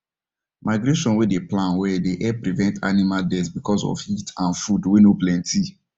migration wen dem plan well dey help prevent animal death because of heat and food wen nor planty